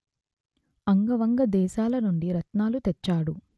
అంగ వంగ దేశాలనుండి రత్నాలు తెచ్చాడు